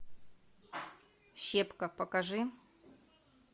щепка покажи